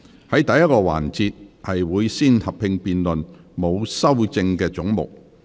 在第1個環節，會先合併辯論沒有修正案的總目。